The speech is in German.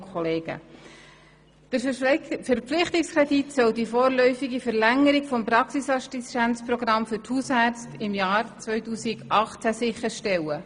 Der Verpflichtungskredit soll die vorläufige Verlängerung des Praxisassistenzprogramms für die Hausärzte im Jahr 2018 sicherstellen.